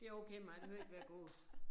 Det okay med mig det behøver ikke være gås